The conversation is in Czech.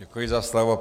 Děkuji za slovo.